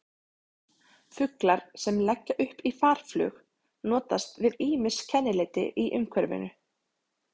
Fuglar sem leggja upp í farflug notast við ýmis kennileiti í umhverfinu.